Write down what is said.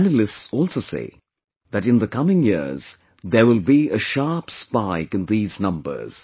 Analysts also say that in the coming years there will be a sharp spike in these numbers